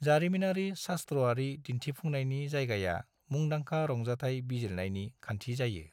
जारिमिनारि शास्त्र'आरि दिन्थिफुंनायनि जायगाया मुंदांखा रंजाथाय बिजिरनायनि खान्थि जायो।